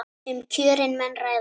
Um kjörin menn ræða.